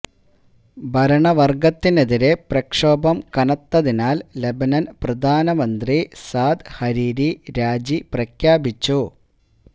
ഭരണവര്ഗത്തിനെതിരെ പ്രക്ഷോഭം കനത്തതിനാൽ ലെബനന് പ്രധാനമന്ത്രി സാദ് ഹരീരി രാജി പ്രഖ്യാപിച്ചു